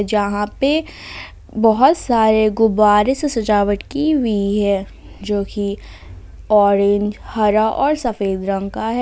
जहाँ पे बहोत सारे गुब्बारे से सजावट की हुई है जो की ऑरेंज हरा और सफेद रंग का है।